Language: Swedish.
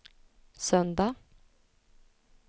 söndag